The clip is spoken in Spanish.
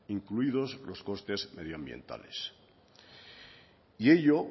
incluidos los costes medioambientales y ello